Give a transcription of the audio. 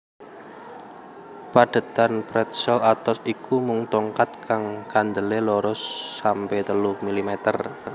Padhetan pretzel atos iku mung tongkat kang kandelé loro sampe telu milimeter